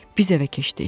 Biz evə keçdik.